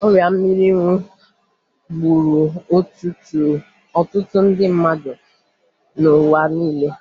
Ọrịa mmịnwụ gburu ọtụtụ ndị mmadụ n'ụwa niile